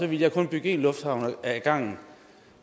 ville jeg kun bygge én lufthavn ad gangen